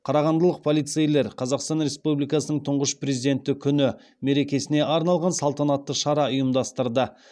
қарағандылық полицейлер қазақстан республикасының тұңғыш президенті күні мерекесіне арналған салтанатты шара ұйымдастырды